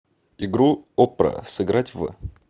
игру оппра сыграть в